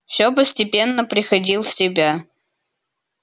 всё постепенно приходил в себя